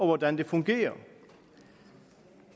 hvordan det fungerer